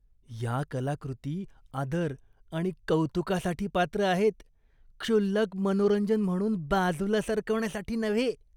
या कलाकृती आदर आणि कौतुकासाठी पात्र आहेत, क्षुल्लक मनोरंजन म्हणून बाजूला सरकवण्यासाठी नव्हे.